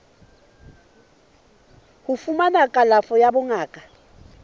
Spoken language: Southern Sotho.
ho fumana kalafo ya bongaka